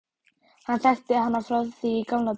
Hann þekkti hana frá því í gamla daga.